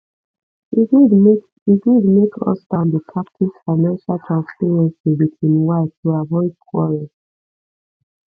e good make e good make husband dey practice financial transparency with im wife to avoid quarrel